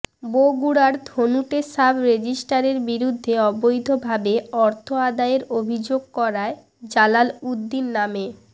বগুড়ার ধুনটে সাব রেজিস্ট্রারের বিরুদ্ধে অবৈধভাবে অর্থ আদায়ের অভিযোগ করায় জালাল উদ্দিন নামে